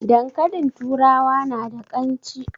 Dankalin turawa na da ƙan ci?